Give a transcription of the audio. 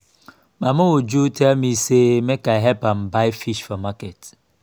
mama uju tell me say make i help am buy fish for market